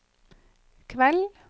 kveld